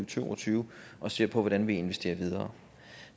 to og tyve og ser på hvordan vi investerer videre